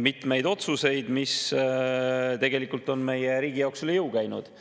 mitmeid otsuseid, mis tegelikult on meie riigile üle jõu käinud.